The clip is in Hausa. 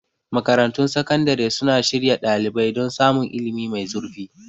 Makarantun Sakandare suna shirya ɗalibai don samun ilimi mai zurfi.